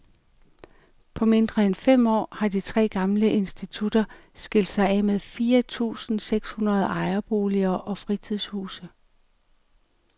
På mindre end fem år har de tre gamle institutter skilt sig af med fire tusinde seks hundrede ejerboliger og fritidshuse.